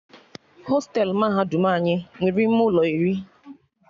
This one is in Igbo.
Hostelu mahadum anyị nwere ime ụlọ iri